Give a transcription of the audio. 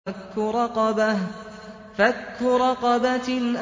فَكُّ رَقَبَةٍ